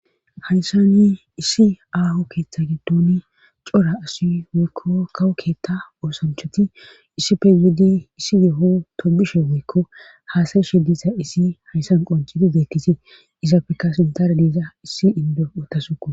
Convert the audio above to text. Haysani issi aaho keeththa giddoni cora asi woykko kawo keetta oosanchoti issippe yiidi issi yeho tobishe woykko haasayi shidisa issi hayssan qoncidi deekkisi iza feka sintara diiza issi indo otasuko.